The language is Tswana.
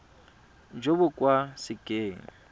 jo bo ka se keng